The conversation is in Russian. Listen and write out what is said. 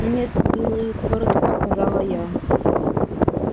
нет милый кротко сказала я